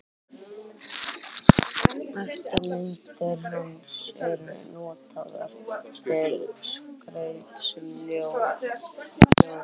Eftirmyndir hans eru notaðar til skrauts um jólin.